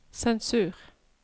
sensur